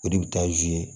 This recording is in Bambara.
O de bɛ taa